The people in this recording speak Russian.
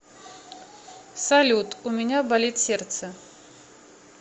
салют у меня болит сердце